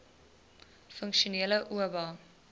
funksionele oba